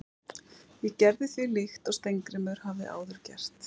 Ég gerði því líkt og Steingrímur hafði áður gert.